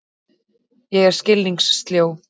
Ég er skilningssljó.